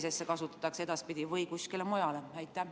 Kas seda kasutatakse edaspidi ikka tervishoius või kuskil mujal?